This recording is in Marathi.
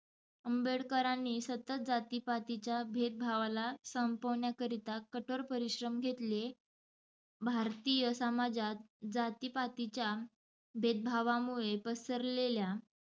आंबेडकरांनी सतत जाति-पातीच्या भेदभावाला संपवण्याकरिता कठोर परिश्रम घेतले. भारतीय समाजात जाती-पातीच्या भेद भावामुळे पसरलेल्या